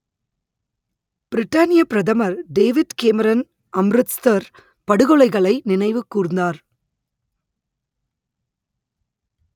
பிரிட்டானியப் பிரதமர் David Cameron Amritsar படுகொலைகளை நினைவு கூர்ந்தார்